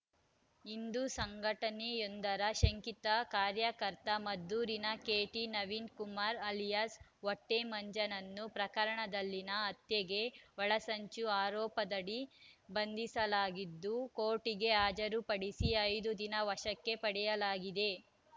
ಹಿಂದೂ ಸಂಘಟನೆಯೊಂದರ ಶಂಕಿತ ಕಾರ‍್ಯಕರ್ತ ಮದ್ದೂರಿನ ಕೆಟಿನವೀನ್‌ ಕುಮಾರ್‌ ಅಲಿಯಾಸ್‌ ಹೊಟ್ಟೆಮಂಜನನ್ನು ಪ್ರಕರಣದಲ್ಲಿನ ಹತ್ಯೆಗೆ ಒಳಸಂಚು ಆರೋಪದಡಿ ಬಂಧಿಸಲಾಗಿದ್ದು ಕೋರ್ಟಿಗೆ ಹಾಜರುಪಡಿಸಿ ಐದು ದಿನ ವಶಕ್ಕೆ ಪಡೆಯಲಾಗಿದೆ